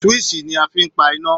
Swíìṣì ni a fi ń pa iná